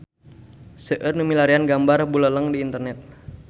Seueur nu milarian gambar Buleleng di internet